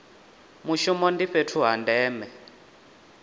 mushumo ndi fhethu ha ndeme